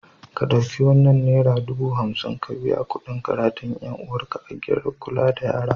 Ka ɗauki wannan nera dubu hamsin ka biya kuɗin karatun ‘yar uwarka a gidan kula da yara.